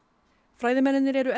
fræðimennirnir eru